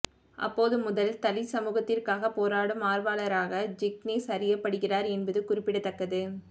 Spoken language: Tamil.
அப்போது முதல் தலித் சமூகத்திற்காக போராடும் ஆர்வலராக ஜிக்னேஷ் அறியப்படுகிறார் என்பது குறிப்பிடத்தக்கது